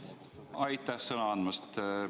Aitäh sõna andmast!